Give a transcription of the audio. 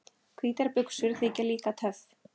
Hvítar buxur þykja líka töff.